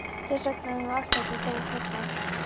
Þess vegna er nú allt þetta dót hérna.